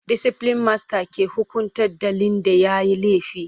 Disiplin masta ke hukunta ɗalin da yayi laifi.